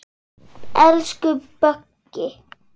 Elsku Böggi.